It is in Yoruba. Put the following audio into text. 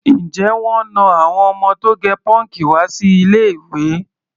Ǹjẹ́ wọ́n na àwọn ọmọ tó gẹ pọ́ǹkì wá sí ilé-ìwé?